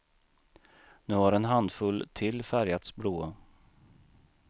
Nu har en handfull till färgats blåa.